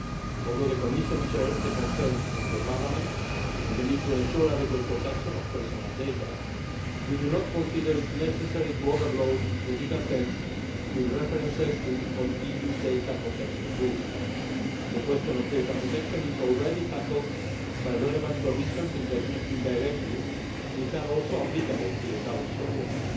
Although the Commission shares the concerns of Parliament on the need to ensure adequate protection of personal data, we do not consider it necessary to overload the legal text with references to EU data protection rules. The question of data protection is already tackled by relevant prohibitions in the existing directive which are also applicable to the current proposal.